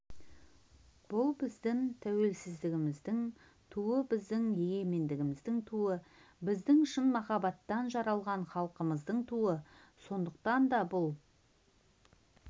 бұл біздің тәуелсіздігіміздің туы біздің егемендігіміздің туы біздің шын махаббаттан жаралған халқымыздың туы сондықтан да бұл